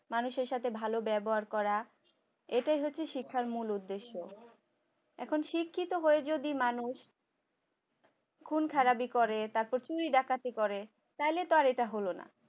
মানুষের সাথে ভালো ব্যবহার করা এটাই হচ্ছে শিক্ষার মূল উদ্দেশ্য। এখন শিক্ষিত হয়ে যদি মানুষ খুন-খারাবি করে তারপর চুরি ডাকাতি করে তাহলে তো এটা হলো না